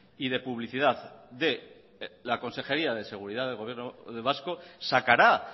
y de publicidad de la consejería de seguridad del gobierno vasco sacará